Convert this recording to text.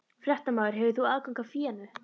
Fréttamaður: Hefur þú aðgang að fénu?